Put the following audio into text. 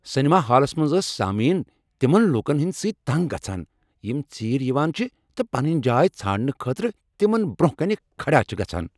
Cinema ہالس منٛز ٲسۍ سامعین تمن لوکن ہٕنٛد سۭتۍ تنٛگ گژھان یم ژیٖرۍ یوان چھ تہٕ پنٕنۍ جاے ژھانٛڑنہٕ خٲطرٕ تمن برٛۄنٛہہ کنہ کھڑا چھ گژھان۔